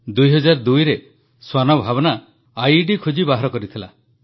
2002ରେ ଶ୍ୱାନ ଭାବନା ଆଇଇଡି ଖୋଜି ବାହାର କରିଥିଲେ